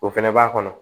O fɛnɛ b'a kɔnɔ